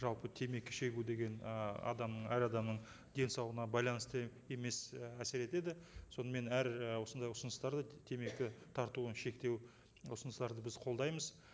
жалпы темекі шегу деген ы адамның әр адамның денсаулығына байланысты емес і әсер етеді сонымен әр і осындай ұсыныстарды темекі тартуын шектеу ұсыныстарды біз қолдаймыз